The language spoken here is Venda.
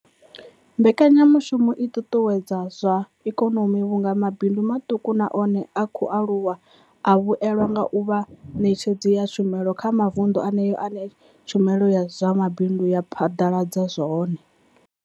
Mbekanya mushumo i ṱuṱuwedza zwa ikonomi vhunga mabindu maṱuku na one a khou aluwa a vhuelwa nga u vha vhaṋetshedzi vha tshumelo kha mavundu eneyo ane tshumelo ya zwa mabindu ya phaḓaladzwa hone.